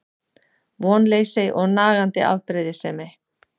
Vonleysi og nagandi afbrýðisemi.